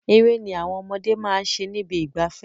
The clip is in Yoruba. Eré ni àwọn ọmọdé máa ṣe nibi ìgbafẹ́.